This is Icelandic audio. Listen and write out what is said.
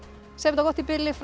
gott í bili fram